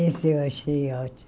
Esse eu achei ótimo.